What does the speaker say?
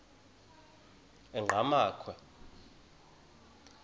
enqgamakhwe